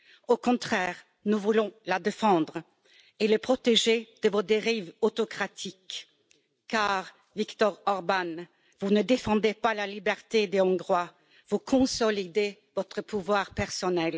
au contraire, nous voulons la défendre et la protéger de vos dérives autocratiques, car, Viktor Orbán, vous ne défendez pas la liberté des Hongrois, vous consolidez votre pouvoir personnel.